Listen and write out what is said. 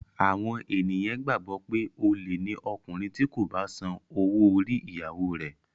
Àwọn ènìyàn gbàgbọ́ pé olè ni ọkùnrin tí kò bá san owó orí ìyàwóo rẹ̀.